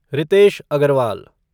Ritesh Agarwal